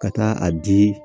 Ka taa a di